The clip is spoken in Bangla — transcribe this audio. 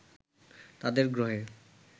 তাদের গ্রহে